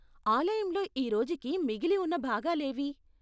ఆలయంలో ఈ రోజుకి మిగిలి ఉన్న భాగాలేవి?